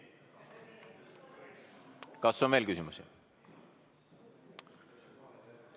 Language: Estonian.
Kas on veel küsimusi?